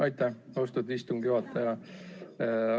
Aitäh, austatud istungi juhataja!